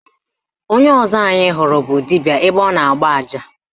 Onye ọzọ anyị hụrụ bụ dibịa ebe ọ na-agba aja.